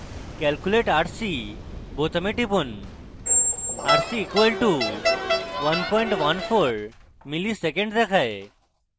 calculate rc বোতামে টিপুন rc = 114 msec দেখায়